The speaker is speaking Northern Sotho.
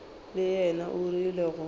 le yena o rile go